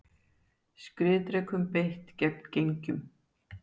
Skriðdrekum beitt gegn gengjum